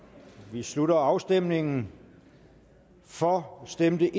vi slutter afstemningen for stemte